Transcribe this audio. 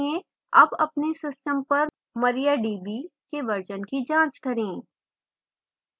अब अपने system पर mariadb के version की जाँच करें